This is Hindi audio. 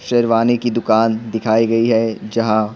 सिरवाने की दुकान दिखाई गई हैजहां--